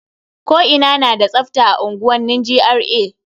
Ko ina na da tsafta a unguwanni GRA.